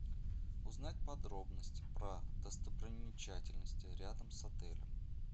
узнать подробности про достопримечательности рядом с отелем